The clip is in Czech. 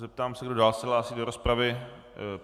Zeptám se, kdo se dál hlásí do rozpravy.